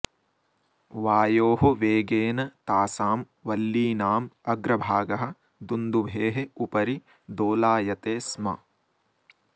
वायोः वेगेन तासां वल्लीनाम् अग्रभागः दुन्दुभेः उपरि दोलायते स्म